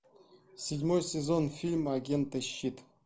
седьмой сезон фильма агенты щит